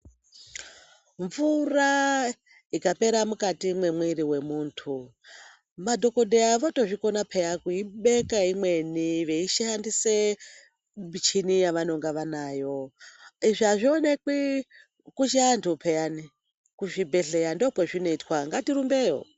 Mvura ikapera mukati mwemwiri wemuntu, madhokoteya otozvikona pheyani kukupa imweni vachishandisa michini yavanenge vanayo .Izvi azvioneki kuchivantu pheyani kuzvibhedhlera ndokwazvinoitwa ngatirumbeyo.